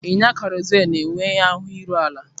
Ịnya karosel na-enwe ahụ iru ala.